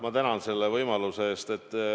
Ma tänan selle võimaluse eest!